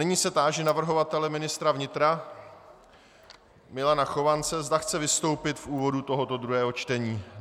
Nyní se táži navrhovatele ministra vnitra Milana Chovance, zda chce vystoupit v úvodu tohoto druhého čtení.